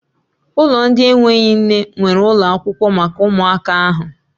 Ụlọ ndị enweghị nne nweere ụlọ akwụkwọ maka ụmụaka ahụ.